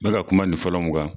N be ka kuma nin fɔlɔ mun kan